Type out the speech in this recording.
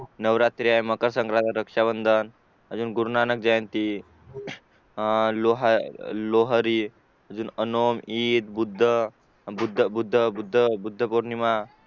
नवरात्री आहे मकरसंक्रात रक्षाबंधन अजून गुरुनानक जयंती अह लोहारी ईद बुद्धपौर्णिमा